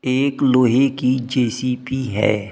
एक लोहे की जे_सी_बी है।